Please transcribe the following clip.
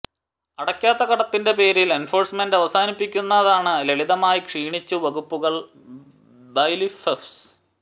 അടയ്ക്കാത്ത കടത്തിന്റെ പേരിൽ എൻഫോഴ്സ്മെന്റ് അവസാനിപ്പിക്കുന്നതാണ് ലളിതമായി ക്ഷീണിച്ചു വകുപ്പുകൾ ബൈലിഫ്ഫ്സ്